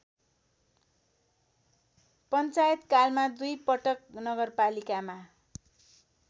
पञ्चायतकालमा दुईपटक नगरपालिकामा